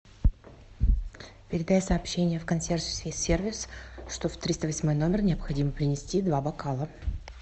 передай сообщение в консьерж сервис что в триста восьмой номер необходимо принести два бокала